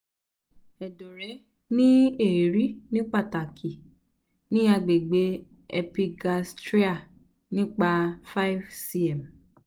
ẹdọ rẹ le ri ni pataki ni agbegbe epigastria nipa 5 cm